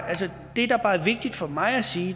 er vigtigt for mig at sige